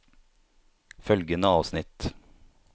Følgende avsnitt